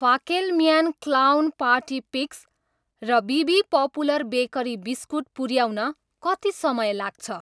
फाकेलम्यान clown party picks र बिबी popular bakery biscuit पुऱ्याउन कति समय लाग्छ?